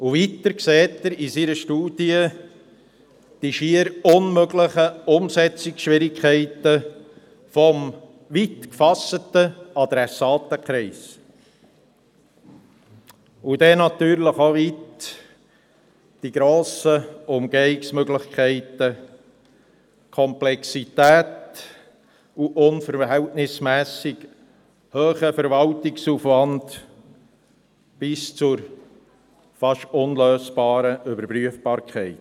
Weiter sieht er in seiner Studie die schier unmögliche Umsetzung hinsichtlich des weit gefassten Adressatenkreises, auch bezüglich der grossen Umgehungsmöglichkeiten, der Komplexität und des unverhältnismässig hohen Verwaltungsaufwands bis hin zur fast unlösbaren Überprüfbarkeit.